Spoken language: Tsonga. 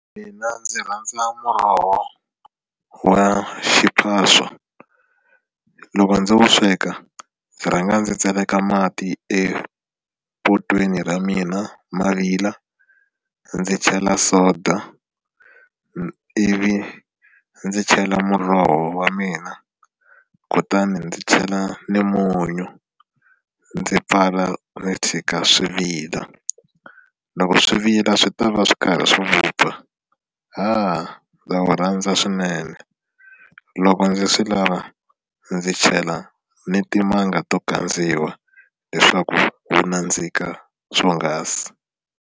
Mina ndzi rhandza muroho wa xiphaswa loko ndzi wu sweka ndzi rhanga ndzi tseleka mati epotweni ra mina ma vila ndzi chela soda ivi ndzi chela muroho wa mina kutani ndzi chela ni munyu ndzi pfala ndzi tshika swi vila loko swi vila swi ta va swi kahle ra swi vupfa haa ndza wu rhandza swinene loko ndzi swi lava ndzi chela ni timanga to kandzeriwa leswaku wu nandzika swonghasi.